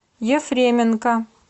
ефременко